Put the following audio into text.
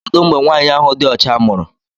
Kedụ mgbe nwaanyị ahụ dị ọcha mụrụ?